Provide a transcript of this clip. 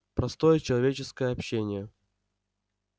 простое человеческое общение